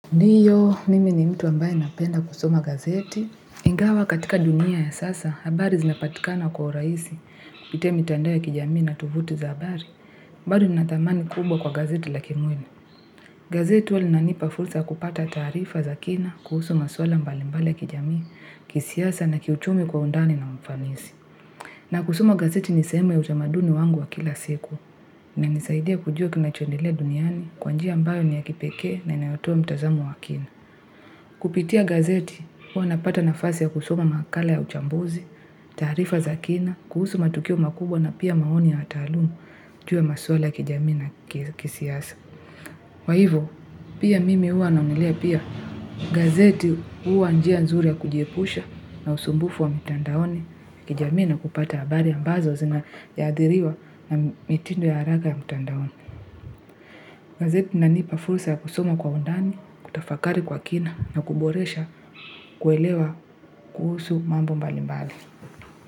Ndiyo, mimi ni mtu ambaye napenda kusoma gazeti. Ingawa katika dunia ya sasa, habari zinapatikana kwa urahisi kupitia mitandao ya kijamii na tovuti za habari. Bali ninatamani kubwa kwa gazeti lakini wena. Gazeti huwa linanipa fursa ya kupata taarifa za kina kuhusu maswala mbali mbali ya kijamii, kisiasa na kiuchumi kwa undani na mafanisi. Na kusoma gazeti nisl sehemu ya utamaduni wangu wa kila siku. Inanisaidia kujua kinachoendelea duniani kwa njia ambayo ni ya kipekee na inayotua mitazamo wa kina. Kupitia gazeti, huwa napata nafasi ya kusoma makala ya uchambuzi, tarifa za kina, kuhusu matukio makubwa na pia maoni ya taalumu juu ya maswala ya kijamii na kisiasa. Kwa hivyo pia mimi huwa naonelea pia gazeti huwa njia nzuri ya kujiepusha na usumbufu wa mitandaoni ya kijamii na kupata abari ya mbazo zina yaadhiriwa na mitindo ya haraka ya mitandaoni. Gazeti linanipa fursa ya kusoma kwa undani, kutafakari kwa kina na kuboresha kuelewa kuhusu mambo mbali mbali.